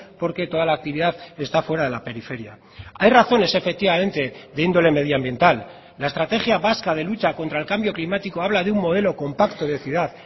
porque toda la actividad esta fuera de la periferia hay razones efectivamente de índole medio ambiental la estrategia vasca de lucha contra el cambio climático habla de un modelo compacto de ciudad